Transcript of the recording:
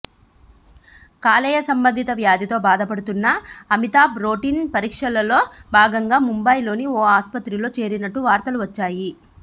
కాలేయ సంబంధిత వ్యాధితో బాధపడుతున్న అమితాబ్ రొటీన్ పరీక్షల్లో భాగంగా ముంబై లోని ఓ ఆసుపత్రిలో చేరినట్టు వార్తలు వచ్చాయి